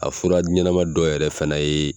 A fura ɲɛnɛma dɔ yɛrɛ fɛnɛ yee